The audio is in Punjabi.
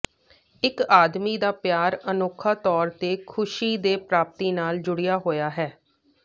ਇੱਕ ਆਦਮੀ ਦਾ ਪਿਆਰ ਅਨੋਖਾ ਤੌਰ ਤੇ ਖੁਸ਼ੀ ਦੇ ਪ੍ਰਾਪਤੀ ਨਾਲ ਜੁੜਿਆ ਹੋਇਆ ਹੈ